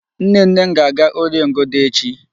Nnenne m ga-aga Órìè Ngodo echi.